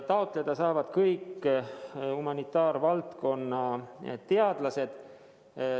Taotleda saavad kõik humanitaarvaldkonna teadlased.